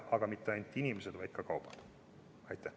Ja mõelda ei tule ainult inimestele, vaid ka kaupadele.